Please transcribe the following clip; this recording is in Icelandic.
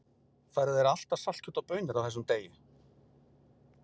Færðu þér alltaf saltkjöt og baunir á þessum degi?